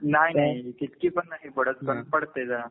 नाही नाही इतकी पण नाही पडत पण पडते जरा.